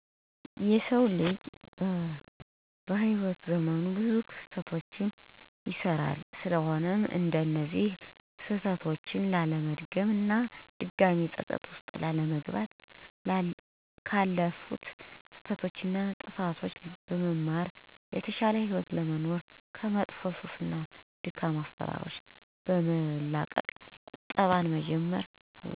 የሰው ልጅ በህይዎት ዘመኑ ብዙ ስህተቶችን ይሰራል ስለሆነም እነዚያን ስህተቶች ላለመድገም እና ድጋሜ ፀፀት ውስጥ ላለመግባት ካለፉት ስህተቶች እና ጥፋቶች በመማር የተሻለ ህይወት ለመኖር ከመጥፎ ሱስ እና ደካማ አሰራሮችን በመላቀቅ ቁጠባን በማዳበር የተሻለ ህይወትን መምራት ያስፈልጋል።